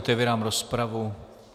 Otevírám rozpravu.